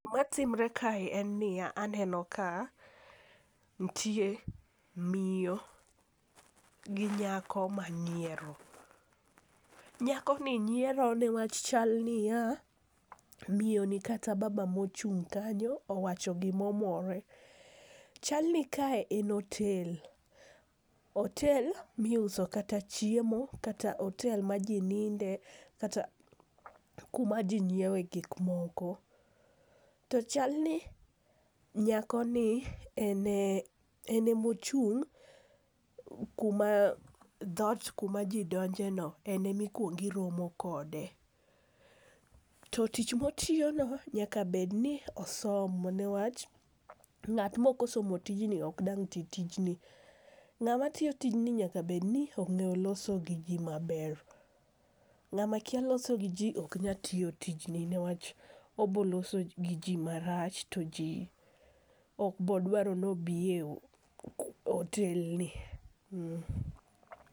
Gimatimre kae en niya aneno ka nitie miyo gi nyako manyiero, nyakoni nyiero niwach chal niya, miyoni kata baba mochung' kanyo owacho gimomore. Chal ni kae en otel, otel miuso kata chiemo kata otel ma ji ninde kata kuma ji nyiewe gik moko. To chalni nyakoni en emochung' kuma dhot, kuma ji donjeno, en emikwongo iromo kode. To tich motiyono nyaka bedni osomo niwach ng'at mokosomo tijni ok dang' ti tijni. Ng'ama tiyo tijni nyaka bedni ong'eyo loso gi ji maber, ng'ama kia loso gi ji ok nya tiyo tijni niwach oboloso gi ji marach to ji ok bodwaro ni obiye otelni.